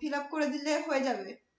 fillup করে দিলেই হয়ে যাবে?